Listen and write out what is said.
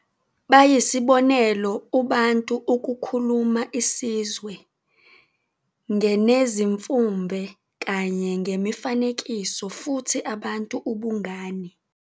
Bayisibonelo uBantu ukukhuluma isizwe nge nezimfumbe kanye ngemifanekiso futhi abantu ubungane.